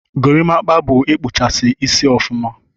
Gorimapa bu ikpụchasi isi ọfụma.